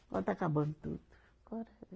Agora está acabando tudo. Agora